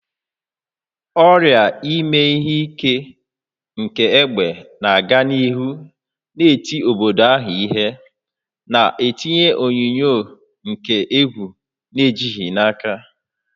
Ọrịa ime ihe ike nke egbe na-aga n'ihu na-eti obodo ahụ ihe, na-etinye onyinyo nke egwu na ejighị n'aka.